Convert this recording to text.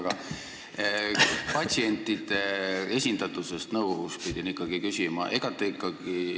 Aga ma pidin küsima patsientide esindatuse kohta nõukogus.